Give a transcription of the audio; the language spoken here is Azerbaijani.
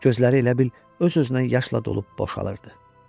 Gözləri elə bil öz-özünə yaşla dolub boşalırdı.